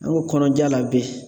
An ko kɔnɔja la be